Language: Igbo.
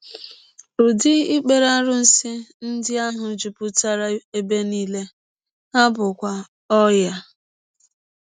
Ụdị ikpere arụsị ndị ahụ jupụtara ebe nile, ha bụkwa ọnyà.